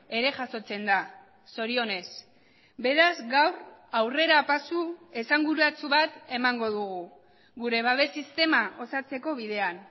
ere jasotzen da zorionez beraz gaur aurrerapasu esanguratsu bat emango dugu gure babes sistema osatzeko bidean